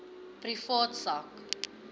privaat sak